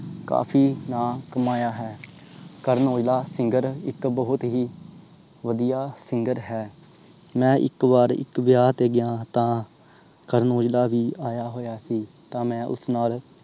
ਕਾਫੀ ਨਾਂ ਕਮਾਇਆ ਹੈ। ਕਰਨ ਔਜਲਾ singer ਇਕ ਬਹੁਤ ਹੀ ਵਧੀਆ singer ਹੈ। ਮੈਂ ਇਕ ਬਾਰ ਮੈਂ ਇਕ ਵਿਆਹ ਤੇ ਗਿਆ ਤਾਂ ਓਥੇ ਕਰਨ ਔਜਲਾ ਵੀ ਆਇਆ ਹੋਇਆ ਸੀ। ਤਾਂ ਮੈਂ ਉਸ ਨਾਲ